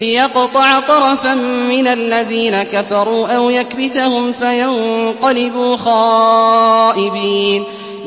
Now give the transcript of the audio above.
لِيَقْطَعَ طَرَفًا مِّنَ الَّذِينَ كَفَرُوا أَوْ يَكْبِتَهُمْ فَيَنقَلِبُوا خَائِبِينَ